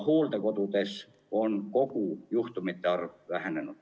Hooldekodudes on kõigi juhtumite arv vähenenud.